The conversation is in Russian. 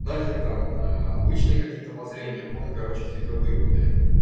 нахер там обычные какие-то воззрения будем короче хитровыебнутые